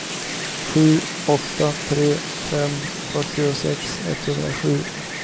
sju åtta tre fem fyrtiosex etthundrasju